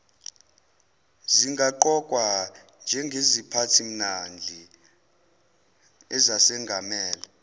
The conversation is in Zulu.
zingaqokwa njengeziphathimandla ezengamele